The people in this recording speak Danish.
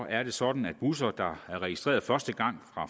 er det sådan at busser der er registreret første gang